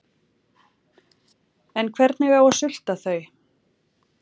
En hvernig á að sulta þau?